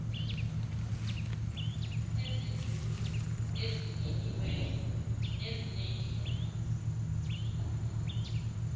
eziduru ezinyiniweyo nezinendleko